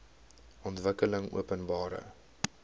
ontwikkelingopenbare